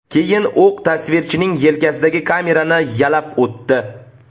Keyin o‘q tasvirchining yelkasidagi kamerani yalab o‘tdi.